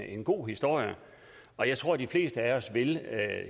en god historie og jeg tror de fleste af os vil